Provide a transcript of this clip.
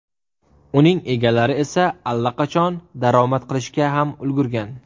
Uning egalari esa allaqachon daromad qilishga ham ulgurgan.